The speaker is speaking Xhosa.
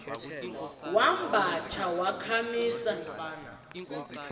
wamba tsha wakhamisa